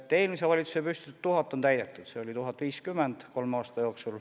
Eelmise valitsuse püstitatud 1000 töökohta on täidetud, see oli 1050 kolme aasta jooksul.